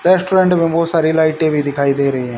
Restaurant में बहुत सारी लाइटें भी दिखाई दे रही हैं।